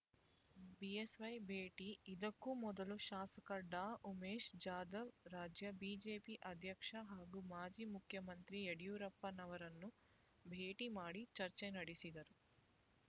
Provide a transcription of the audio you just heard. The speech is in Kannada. ಬಿಎಸ್‌ವೈ ಭೇಟಿ ಇದಕ್ಕೂ ಮೊದಲು ಶಾಸಕ ‌ಡಾ ಉಮೇಶ್ ಜಾಧವ್ ರಾಜ್ಯ ಬಿಜೆಪಿ ಅಧ್ಯಕ್ಷ ಹಾಗೂ ಮಾಜಿ ಮುಖ್ಯಮಂತ್ರಿ ಯಡಿಯೂರಪ್ಪನವರನ್ನು ಭೇಟಿ ಮಾಡಿ ಚರ್ಚೆ ನಡೆಸಿದರು